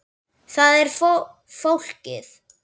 Þar er fólkið.